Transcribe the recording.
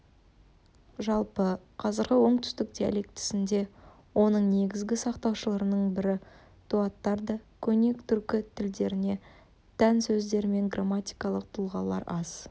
жалпы қазіргі оңтүстік диалектісінде оның негізгі сақтаушыларының бірі дулаттарда көне түркі тілдеріне тән сөздер мен грамматикалық тұлғалар аз